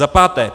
Za páté.